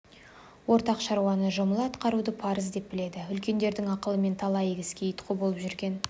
ортақ шаруаны жұмыла атқаруды парыз деп біледі үлкендердің ақылымен талай игі іске ұйытқы болып жүрген